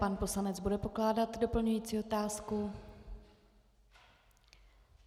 Pan poslanec bude pokládat doplňující otázku.